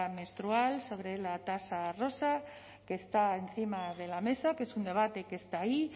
menstrual sobre la tasa rosa que está encima de la mesa que es un debate que está ahí